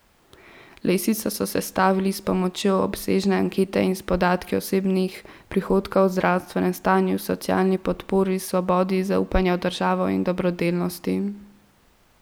Lestvico so sestavili s pomočjo obsežne ankete in s podatki o osebnih prihodkih, zdravstvenem stanju, socialni podpori, svobodi, zaupanju v državo in dobrodelnosti.